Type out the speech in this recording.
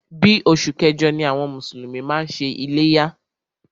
Bí oṣù kẹjọ ni àwọn mùsùlùmí máa ń ṣe iléyá.